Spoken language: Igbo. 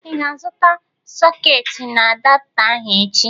Ị ga-azụta sọketi na adapta ahụ echi?